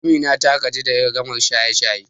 Amina ta gaji da jan ragamar shirye-shirye.